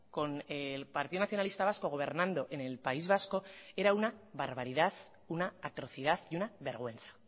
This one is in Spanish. con el partido nacionalista vasco gobernando en el país vasco era una barbaridad una atrocidad y una vergüenza